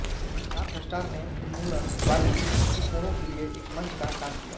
north Star ने उन्मूलनवादी दृष्टिकोणों के लिए एक मंच का काम किया